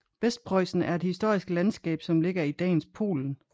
Vestpreussen er et historisk landskab som ligger i dagens Polen